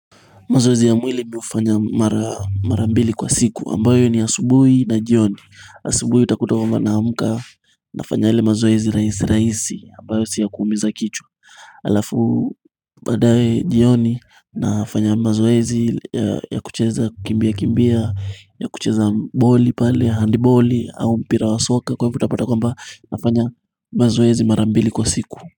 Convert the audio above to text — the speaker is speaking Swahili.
Mazoezi ya mwili mi hufanya mara mbili kwa siku ambayo ni asubuhi na jioni asubuhi utakuta kwamba naamuka nafanya ile mazoezi rahisi rahisi ambayo si yakuumiza kichwa Alafu baadaye jioni nafanya mazoezi ya kucheza kukimbia kimbia ya kucheza boli pale handiboli au mpira wa soka kwa hivyo utapata kwamba nafanya mazoezi mara mbili kwa siku.